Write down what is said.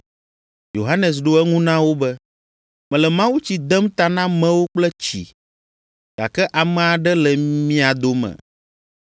Yohanes ɖo eŋu na wo be, “Mele mawutsi dem ta na amewo kple tsi, gake ame aɖe le mia dome,